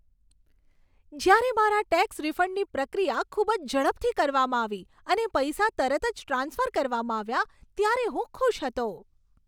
જ્યારે મારા ટેક્સ રિફંડની પ્રક્રિયા ખૂબ જ ઝડપથી કરવામાં આવી અને પૈસા તરત જ ટ્રાન્સફર કરવામાં આવ્યા ત્યારે હું ખુશ હતો.